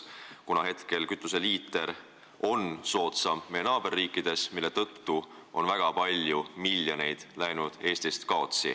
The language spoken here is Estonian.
Praegugi on kütus meie naaberriikides odavam ja Eesti on kaotanud väga palju miljoneid.